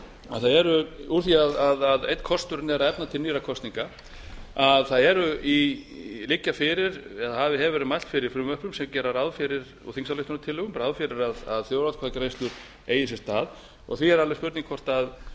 að það eru úr því einn kosturinn er að efna til nýrra kosninga það liggja fyrir eða hefur verið mælt fyrir frumvörpum sem gera ráð fyrir og þingsályktunartillögum ráð fyrir að þjóðaratkvæðagreiðslur eigi sér stað því er alveg spurning